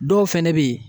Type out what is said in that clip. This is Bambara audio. Dɔw fɛnɛ be ye